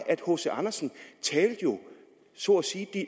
at hc andersen jo så at sige